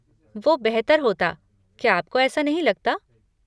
वो बेहतर होता, क्या आपको ऐसा नहीं लगता?